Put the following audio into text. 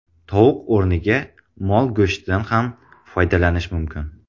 Tovuq o‘rniga mol go‘shtidan ham foydalanish mumkin.